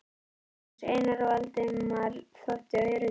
Magnús, Einar og Valdemar þóttu öruggir.